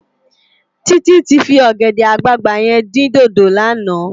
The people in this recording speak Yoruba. Titi ti fi ògèdè àgbágbá yèn din dódó làná